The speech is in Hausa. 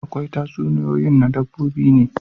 Akwai tatsuniyoyin na dabbobi ne